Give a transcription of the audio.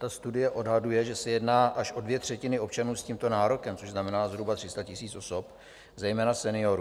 Ta studie odhaduje, že se jedná až o dvě třetiny občanů s tímto nárokem, to znamená zhruba 300 000 osob, zejména seniorů.